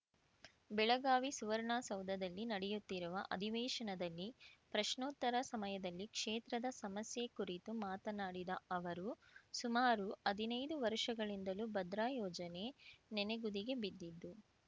ಬೆಳಗಾವಿ ಸುವರ್ಣಸೌಧದಲ್ಲಿ ನಡೆಯುತ್ತಿರುವ ಅಧಿವೇಶನದಲ್ಲಿ ಪ್ರಶ್ನೋತ್ತರ ಸಮಯದಲ್ಲಿ ಕ್ಷೇತ್ರದ ಸಮಸ್ಯೆ ಕುರಿತು ಮಾತನಾಡಿದ ಅವರು ಸುಮಾರು ಅದಿನೈದು ವರ್ಷಗಳಿಂದಲೂ ಭದ್ರಾ ಯೋಜನೆ ನೆನೆಗುದಿಗೆ ಬಿದ್ದಿದ್ದು